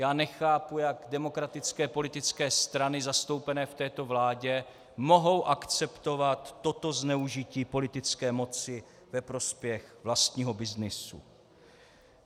Já nechápu, jak demokratické politické strany zastoupené v této vládě mohou akceptovat toto zneužití politické moci ve prospěch vlastního byznysu.